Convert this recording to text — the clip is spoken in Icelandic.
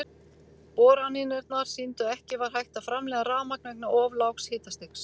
Boranirnar sýndu að ekki var hægt að framleiða rafmagn vegna of lágs hitastigs.